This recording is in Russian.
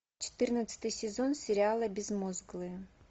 четырнадцатый сезон сериала безмозглые